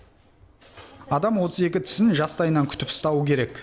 адам отыз екі тісін жастайынан күтіп ұстауы керек